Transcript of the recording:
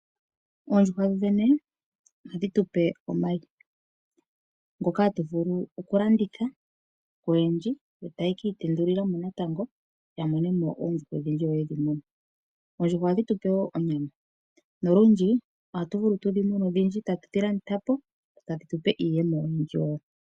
Oondjuhwa ohadhi tu pe omayi ngoka hatu vulu okulanditha koyendji yo taya ka itendulila mo uuyuhwena ya mone mo oondjuhwa odhindji yo ye dhi mune. Oondjuhwa ohadhi tu pe wo onyama nolundji ohatu vulu tu dhi mune odhindji e tatu dhi landitha po tadhi tu pe iiyemo oyindji wo.